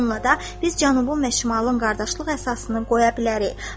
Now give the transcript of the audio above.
Bununla da biz cənubun və şimalın qardaşlıq əsasını qoya bilərik.